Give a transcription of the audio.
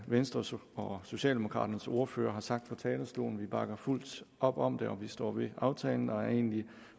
venstres og socialdemokraternes ordførere har sagt fra talerstolen vi bakker fuldt op om det og vi står ved aftalen og er egentlig